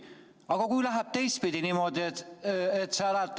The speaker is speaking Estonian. Aga kui läheb teistpidi?